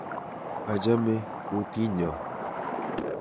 Achame kutinyo.